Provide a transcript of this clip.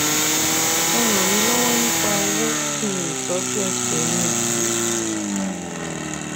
ẹ ràn mí lọ́wọ́ nípa owó kí n lè tọ́jú ẹsẹ̀ mi yìí